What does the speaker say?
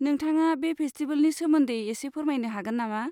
नोंथाङा बे फेस्टिबेलनि सोमोन्दै एसे फोरमायनो हागोन नामा?